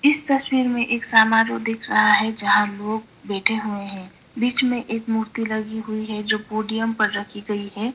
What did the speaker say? इस तस्वीर में समारोह दिख रहा है जहां लोग बैठे हुए हैं बीच में एक मूर्ति लगी हुई है जो पोडियम पर रखी गई है।